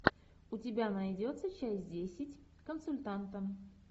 у тебя найдется часть десять консультанта